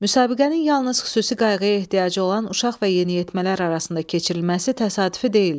Müsabiqənin yalnız xüsusi qayğıya ehtiyacı olan uşaq və yeniyetmələr arasında keçirilməsi təsadüfi deyildi.